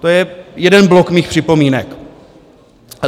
To je jeden blok mých připomínek.